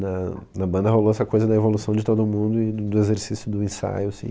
Na na banda rolou essa coisa da evolução de todo mundo e do do exercício do ensaio.